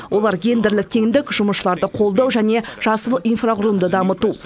олар гендерлік теңдік жұмысшыларды қолдау және жасыл инфрақұрылымды дамыту